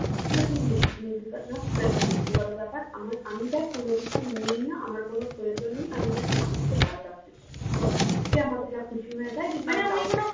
সেটা তুই নিবি কি নিবি না সেটা তোর ব্যক্তিগত ব্যাপার আমার আমি দেখ কোনোকিছু নেই না আমার কিছু প্রয়োজন নেই আমি just মানুষকে ভালো রাখতে চাই যে আমাকে যা খুশি হয়ে দেয়